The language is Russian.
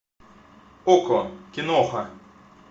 окко киноха